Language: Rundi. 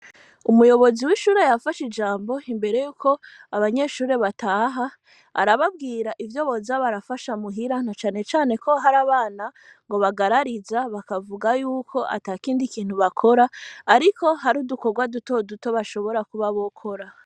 Umuyobozi w'ishure yafashe ijambo imbere yuko abanyeshuri bataha arababwira ivyo bozab arafasha muhiranto canecane ko hari abana ngo bagarariza bakavuga yuko ata kindi kintu bakora, ariko hari udukorwa dutoduto bashobora kuba bokora.